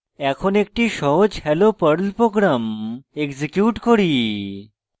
এখন একটি সহজ হ্যালো perl program execute করি